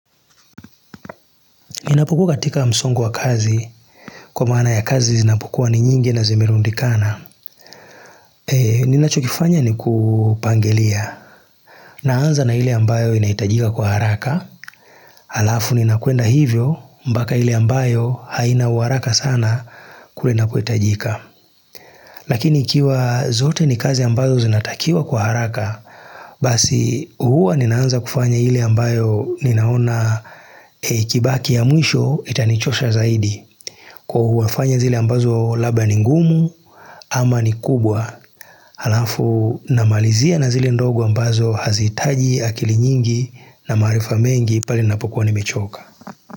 Ninapokua katika msongu wa kazi, kwa maana ya kazi zinapokua ni nyingi na zimerundikana. Ninachokifanya ni kupangilia. Naanza na ile ambayo inaitajika kwa haraka. Alafu ninakwenda hivyo, mpaka ile ambayo haina uharaka sana kwenda kuitajika. Lakini ikiwa zote ni kazi ambazo zinatakiwa kwa haraka, basi huwa ninaanza kufanya ile ambayo ninaona ikibaki ya mwisho itanichosha zaidi. Kwa huwa nafanya zile ambazo labda ni ngumu ama ni kubwa, alafu namalizia na zile ndogo ambazo haziitaji akili nyingi, na maarifa mengi pale ninapokuwa nimechoka.